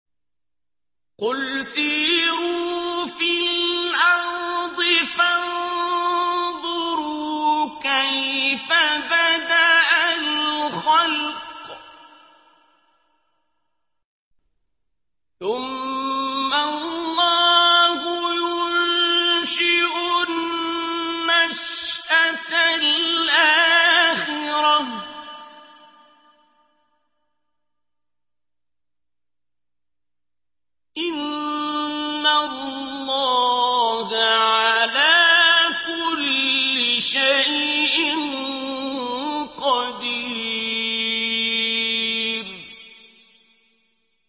قُلْ سِيرُوا فِي الْأَرْضِ فَانظُرُوا كَيْفَ بَدَأَ الْخَلْقَ ۚ ثُمَّ اللَّهُ يُنشِئُ النَّشْأَةَ الْآخِرَةَ ۚ إِنَّ اللَّهَ عَلَىٰ كُلِّ شَيْءٍ قَدِيرٌ